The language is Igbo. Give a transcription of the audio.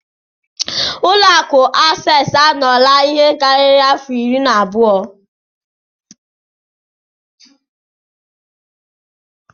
Ụlọ akụ access anọla ihe karịrị afọ irí abụo na abụọ.